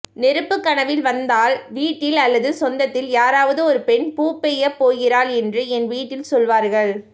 நெருப்பு கனவில் வந்தால் வீட்டில் அல்லது சொந்தத்தில் யாராவது ஒரு பெண் பூப்பெய்யப் போகிறாள் என்று என் வீட்டில் சொல்வார்கள்